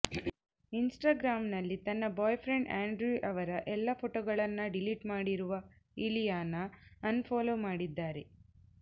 ಇನ್ಸ್ಟಾಗ್ರಾಂನಲ್ಲಿ ತನ್ನ boyfriend Andrew ಅವರ ಎಲ್ಲ ಫೋಟೋಗಳನ್ನ ಡಿಲೀಟ್ ಮಾಡಿರುವ ಇಲಿಯಾನಾ ಅನ್ ಫಾಲೋ ಮಾಡಿದ್ದಾರೆ